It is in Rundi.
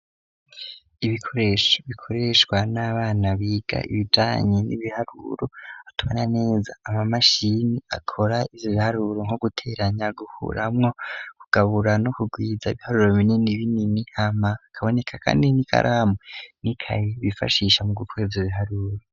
Ibikoresho bikoreshwa n'abana biga ibijanye n'ibiharuro atumana neza ,ama mashini akora ivyo biharuru nko guteranya gukuramwo, kugabura no kugwiza ibiharuro binini binini hama hakaboneka kandi n'ikaramu n'ikaye bifashisha mu gukora ivyo biharuro.